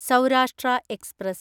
Saurashtra express